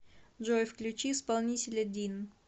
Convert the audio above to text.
джой включи исполнителя дин